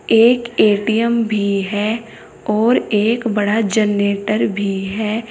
एक ए_टी_एम भी है और एक बड़ा जन्नेटर भी है।